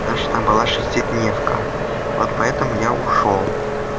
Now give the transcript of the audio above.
по тому что там была шестидневка вот поэтому я ушёл